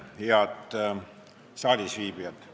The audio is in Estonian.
Head saalisviibijad!